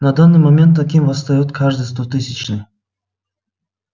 на данный момент таким восстаёт каждый стотысячный